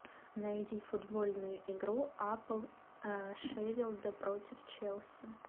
найди футбольную игру апл шеффилда против челси